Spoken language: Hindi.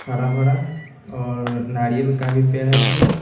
हरा भरा और नारियल का भी पेड़ है तीन।